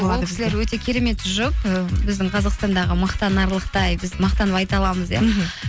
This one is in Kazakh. ол кісілер өте керемет жұп і біздің қазақстандағы мақтанарлықтай біз мақтанып айта аламыз иә мхм